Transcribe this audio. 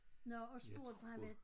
Nåh og spurgte for han var